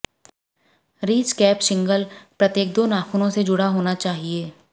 ridge cap shingle प्रत्येक दो नाखूनों से जुड़ा होना चाहिए